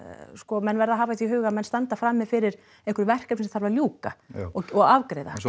menn verða að hafa í huga að menn standa frammi fyrir einhverjum verkefni sem þarf að ljúka og afgreiða en svo